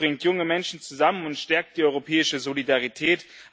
es bringt junge Menschen zusammen und stärkt die europäische Solidarität.